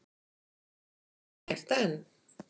Og er gert enn.